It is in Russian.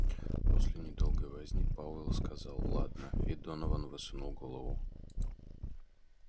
после недолгой возни пауэлл сказал ладно и донован высунул голову